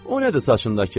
O nədir saçındakı?